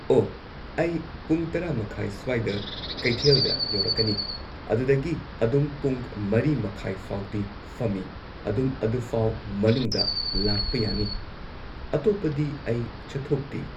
ꯑꯣ ꯑꯩ ꯄꯨꯡ ꯇꯔꯥ ꯃꯈꯥꯏ ꯁ꯭ꯋꯥꯏꯗ ꯀꯩꯊꯦꯜꯗ ꯌꯧꯔꯛꯀꯅꯤ ꯑꯗꯨꯗꯒꯤ ꯑꯗꯨꯝ ꯄꯨꯡ ꯃꯔꯤ ꯃꯈꯥꯏꯐꯥꯎꯗꯤ ꯐꯝꯃꯤ ꯑꯗꯨꯝ ꯑꯗꯨꯐꯧ ꯃꯅꯨꯡꯗ ꯂꯥꯛꯄ ꯌꯥꯅꯤ ꯑꯇꯣꯞꯄꯗꯤ ꯑꯩ ꯆꯠꯊꯣꯛꯇꯦ